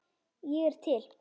Ég er til